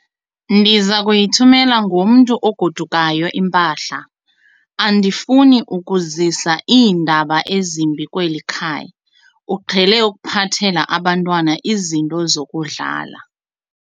Ndiza kuyithumela ngomntu ogodukayo impahla. andifuni ukuzisa iindaba ezimbi kweli khaya, uqhele ukuphathela abantwana izinto zokudlala